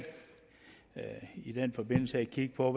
i den forbindelse kigge på